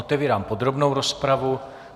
Otevírám podrobnou rozpravu.